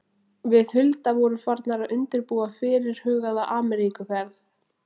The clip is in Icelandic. Við Hulda vorum farnar að undirbúa fyrirhugaða Ameríkuferð.